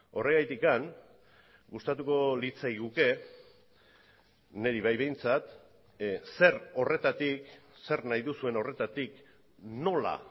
horregatik gustatuko litzaiguke niri bai behintzat zer horretatik zer nahi duzuen horretatik nola